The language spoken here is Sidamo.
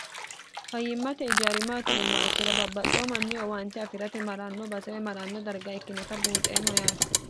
fayyimmate ijari maati yiummo ikkiro babbaxxeyo manni owaante afi'rate ma'ranno basewe maranno darga ikkinota buunxeemmo yaate